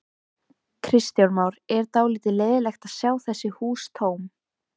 Kristján Már: Er dálítið leiðinlegt að sjá þessi hús tóm?